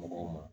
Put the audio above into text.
Mɔgɔw ma